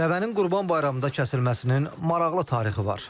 Dəvənin Qurban Bayramında kəsilməsinin maraqlı tarixi var.